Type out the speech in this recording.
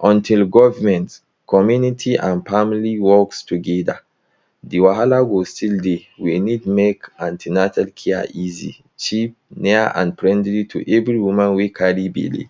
Until government, community, and family work together, the wahala go still dey. We need make an ten atal care easy, cheap, near, and friendly to every woman wey carry belle.